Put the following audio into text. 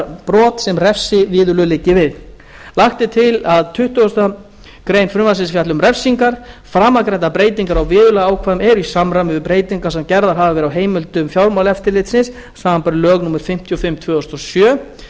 brot sem refsiviðurlög liggi við lagt er til að tuttugustu greinar frumvarpsins fjalli um refsingar framangreindar breytingar á viðurlagaákvæðum eru í samræmi við breytingar sem gerðar hafa verið á heimildum fjármálaeftirlitsins samanber lög númer fimmtíu og fimm tvö þúsund og sjö